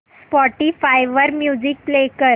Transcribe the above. Spotify वर music play कर